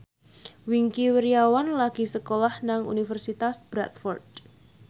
Wingky Wiryawan lagi sekolah nang Universitas Bradford